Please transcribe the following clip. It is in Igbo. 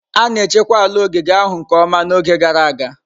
A na-echekwa ala ogige ahụ nke ọma n'oge gara aga.